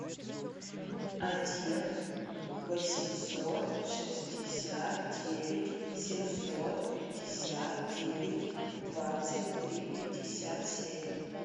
один восемьсот шестьдесят девять семьсот пятьдесят девять двадцать три пятьдесят семь